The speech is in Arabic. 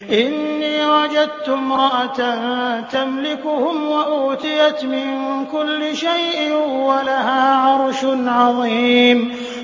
إِنِّي وَجَدتُّ امْرَأَةً تَمْلِكُهُمْ وَأُوتِيَتْ مِن كُلِّ شَيْءٍ وَلَهَا عَرْشٌ عَظِيمٌ